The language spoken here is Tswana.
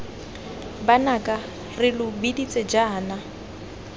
banaka re lo biditse jaana